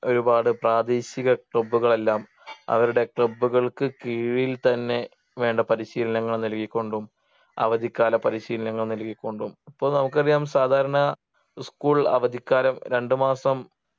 ഒരുപാട് പ്രാദേശിക Club കൾ എല്ലാം അവരുടെ Club കൾക്ക് കീഴിൽ തന്നെ വേണ്ട പരിശീലനങ്ങൾ നൽകിക്കൊണ്ടും അവധിക്കാല പരിശീലനങ്ങൾ നൽകിക്കൊണ്ടും ഇപ്പൊ നമുക്കറിയാം സാധാരണ School അവധിക്കാലം രണ്ട് മാസം